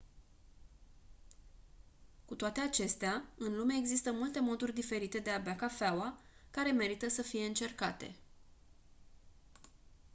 cu toate acestea în lume există multe moduri diferite de a bea cafeaua care merită să fie încercate